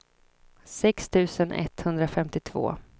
sex tusen etthundrafemtiotvå